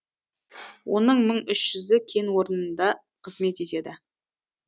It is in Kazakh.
оның мың үш жүзі кен орнында қызмет етеді